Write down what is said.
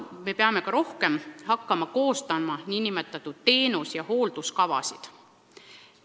Me peame rohkem hakkama koostama ka nn teenus- ja hoolduskavasid.